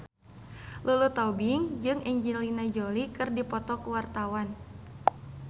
Lulu Tobing jeung Angelina Jolie keur dipoto ku wartawan